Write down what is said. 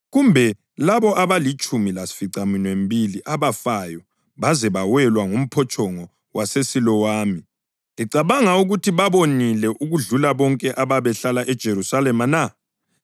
Kumbe labo abalitshumi lasificaminwembili abafayo baze bawelwe ngumphotshongo waseSilowami, licabanga ukuthi babonile okudlula bonke ababehlala eJerusalema na?